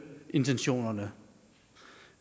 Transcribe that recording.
intentionerne